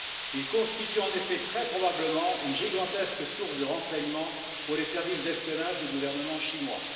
Ils constituent en effet, très probablement, une gigantesque source de renseignements pour les services d'espionnage du gouvernement chinois.